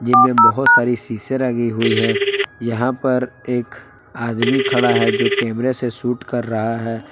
जिनमें बहुत सारी शीशें लगी हुई है। यहां पर एक आदमी खड़ा है जो कैमरे से सूट कर रहा है।